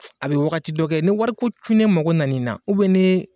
A bɛ wagati dɔ kɛ ni wariko cunnen mago nan'i na ni.